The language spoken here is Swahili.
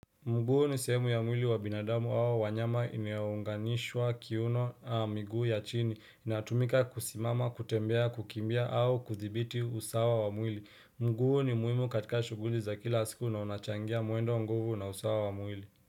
Mguu ni sehemu ya mwili wa binadamu au wanyama inayounganisha kiuno a miguu ya chini, inatumika kusimama, kutembea, kukimbia au kuthibiti usawa wa mwili. Mguu ni muhimu katika shuguli za kila siku na unachangia mwendo nguvu na usawa wa mwili.